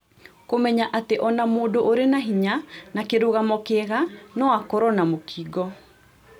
Kũmenya atĩ ona mũndũ ũrĩ na hinya na kĩrũgamo kĩega noakorũo na mũkingo